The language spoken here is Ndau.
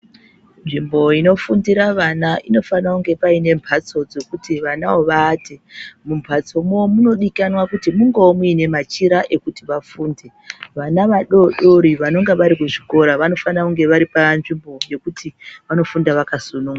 Nzvimbo inofundira vana, inofanira kunge payine mbatso dzokuti vanawo vavate. Mumbatso mo, munodikanwa kuti mungowo munemachira ekuti vafunde. Vana vadodori vanonga varikuzvikora vanofanira kunge varipanzvimbo yekuti vanofunda vakasununguka.